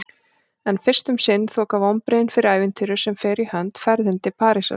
En fyrst um sinn þoka vonbrigðin fyrir ævintýrinu sem fer í hönd: ferðinni til Parísar.